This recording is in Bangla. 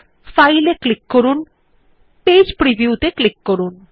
ফাইল এর ওপর ক্লিক করুন এবং পেজ প্রিভিউ ক্লিক করুন